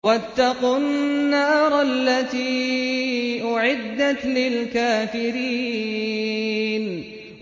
وَاتَّقُوا النَّارَ الَّتِي أُعِدَّتْ لِلْكَافِرِينَ